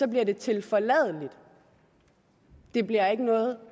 bliver det tilforladeligt men det bliver ikke noget